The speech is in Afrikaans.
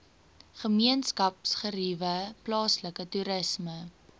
gemeenskapsgeriewe plaaslike toerisme